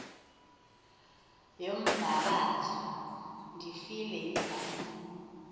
yombabazo ndifile yindlala